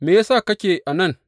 Me ya sa kake a nan?